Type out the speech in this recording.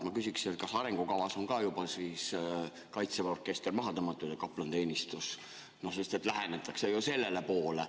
Ma küsiksin, kas arengukavas on ka juba siis Kaitseväe orkester ja kaplaniteenistus maha tõmmatud, sest sellele ju lähenetakse.